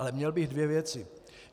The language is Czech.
Ale měl bych dvě věci.